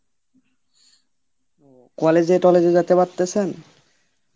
college এ টল্লেজে যেতে পারতেসেন?